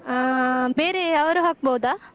ಹಾ ಬೇರೆ, ಅವರು ಹಾಕ್ಬೋದಾ?